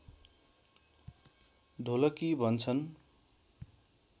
ढोलकी भन्छन्